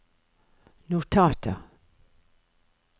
notater